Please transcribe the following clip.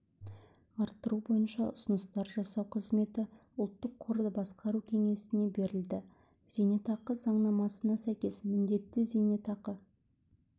арттыру бойынша ұсыныстар жасау қызметі ұлттық қорды басқару кеңесіне берілді зейнетақы заңнамасына сәйкес міндетті зейнетақы